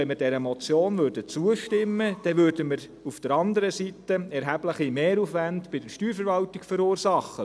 Wenn wir dieser Motion zustimmen würden, würden wir auf der anderen Seite erhebliche Mehraufwände bei der Steuerverwaltung verursachen.